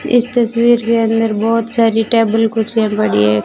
इस तस्वीर के अंदर बहुत सारी टेबल कुर्सियां पड़ी है।